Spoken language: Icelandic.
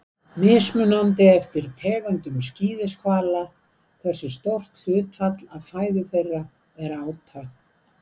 mismunandi er eftir tegundum skíðishvala hversu stórt hlutfall af fæðu þeirra er áta